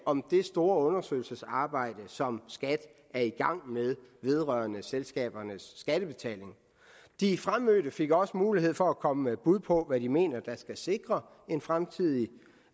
om det store undersøgelsesarbejde som skat er i gang med vedrørende selskabernes skattebetaling de fremmødte fik også mulighed for at komme med bud på hvad de mener der skal sikre en fremtidig